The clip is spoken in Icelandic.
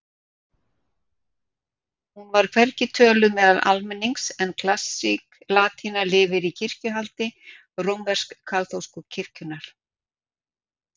Hún er hvergi töluð meðal almennings en klassísk latína lifir í kirkjuhaldi rómversk-kaþólsku kirkjunnar.